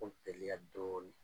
Kow teliya dɔɔnin